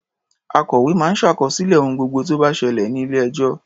Akòwé máa ń ṣàkọsílẹ̀ ohun gbogbo tó bá ṣẹlẹ̀ ní ilé-ẹjọ́.